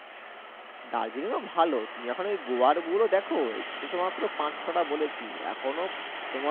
দার্জিলিংও ভালো তুমি যখন ঐ গোয়ার গুলো দেখ এই তো মাত্র পাঁচ ছ’টা বলেছি এখনও তোমার